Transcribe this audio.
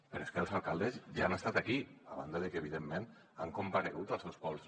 però és que els alcaldes ja han estat aquí a banda de que evidentment han comparegut als seus pobles